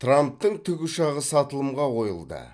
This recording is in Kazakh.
трамптың тікұшағы сатылымға қойылды